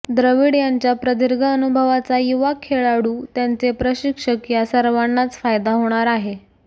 द्रविड यांच्या प्रदीर्घ अनुभवाचा युवा खेळाडू त्यांचे प्रशिक्षक या सर्वांनाच फायदा होणार आहे